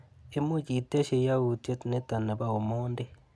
Imuch itesyi yautyet nito nebo Omondi?